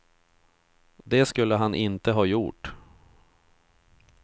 Det skulle han inte ha gjort.